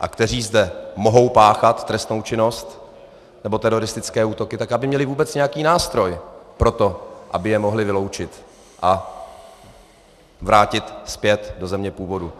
a kteří zde mohou páchat trestnou činnost nebo teroristické útoky, tak aby měly vůbec nějaký nástroj pro to, aby je mohly vyloučit a vrátit zpět do země původu.